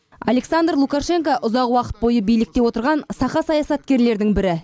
александр лукашенко ұзақ уақыт бойы билікте отырған сақа саясаткерлердің бірі